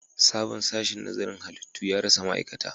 Sabon sashen nazarin halittu ya rasa ma'aikata